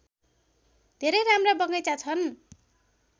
धेरै राम्रा बगैँचा छन्